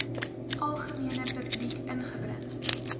algemene publiek ingebring